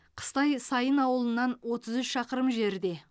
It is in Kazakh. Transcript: қыстай сайын ауылынан отыз үш шақырым жерде